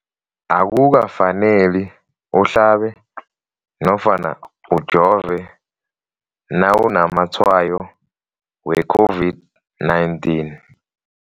Akuka faneli uhlabe nofana ujove nawu namatshayo we-COVID-19.